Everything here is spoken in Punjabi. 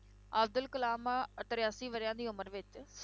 ਅਬਦੁਲ ਕਲਾਮ ਤਰਾਸੀ ਵਰ੍ਹਿਆਂ ਦੀ ਉਮਰ ਵਿੱਚ,